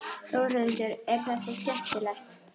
Þórhildur: Er þetta skemmtilegt?